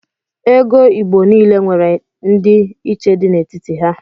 Ego igbo nile nwere ndi iche di n' etiti ha.